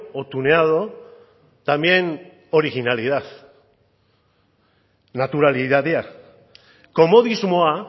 o tuneado también originalidad naturalitatea komodismoa